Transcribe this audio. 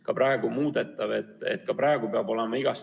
Ka praegu peab olema igast fraktsioonist üks liige.